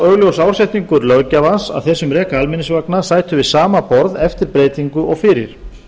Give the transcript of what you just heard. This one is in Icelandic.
augljós ásetningur löggjafans að þeir sem reka almenningsvagna sætu við sama borð eftir breytingu og fyrir